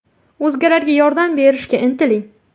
O‘zgalarga yordam berishga intiling.